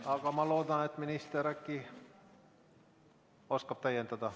Aga ma loodan, et minister äkki oskab täiendada.